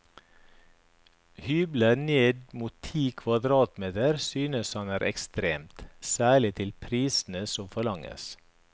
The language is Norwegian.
Hybler ned mot ti kvadratmeter synes han er ekstremt, særlig til prisene som forlanges.